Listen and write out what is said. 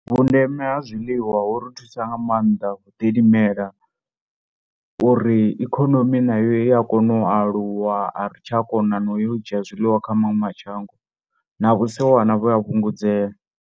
Vhundeme ha zwiḽiwa hu ri thusa nga maanḓa havu ḓilimela uri ikonomi nayo i ya kona u aluwa a ri tsha kona na u yo u dzhia zwiḽiwa kha maṅwe mashango na vhusiwana vhu ya fhungudza.